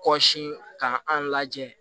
Kɔsan ka an lajɛ